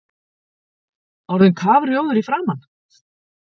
Orðinn kafrjóður í framan!